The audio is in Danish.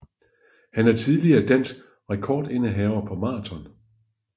Han er tidligere dansk rekordindehaver på maraton